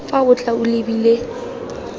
fa o tla o lebile